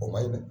O man ɲi dɛ